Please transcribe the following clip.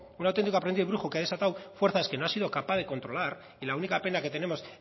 que ha desatado fuerzas que no ha sido capaz de controlar y la única pena que tenemos